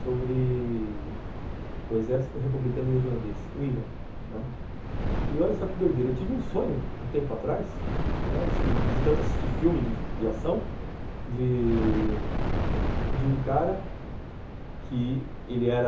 sobre o exército republicano irlandês, o Ira, que olha só que doideira, eu tive um sonho, um tempo atrás, de tanto assistir filme de ação, de... de um cara que ele era